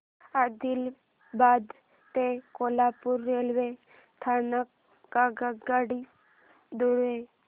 आदिलाबाद ते कोल्हापूर रेल्वे स्थानक आगगाडी द्वारे